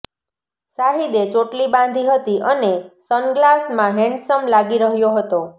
શાહિદે ચોટલી બાંધી હતી અને સનગ્લાસમાં હેન્ડસમ લાગી રહ્યો હતો